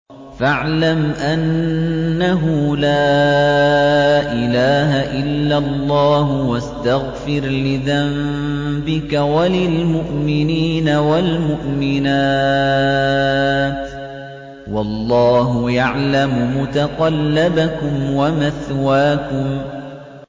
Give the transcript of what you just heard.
فَاعْلَمْ أَنَّهُ لَا إِلَٰهَ إِلَّا اللَّهُ وَاسْتَغْفِرْ لِذَنبِكَ وَلِلْمُؤْمِنِينَ وَالْمُؤْمِنَاتِ ۗ وَاللَّهُ يَعْلَمُ مُتَقَلَّبَكُمْ وَمَثْوَاكُمْ